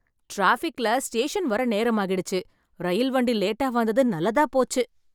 டிராபிக்ல station வர நேரம் ஆகிடுச்சு, ரயில் வண்டி லேட்டா வந்தது நல்லதா போச்சு.